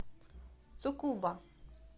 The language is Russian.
цукуба